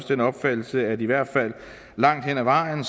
den opfattelse at det i hvert fald langt hen ad vejen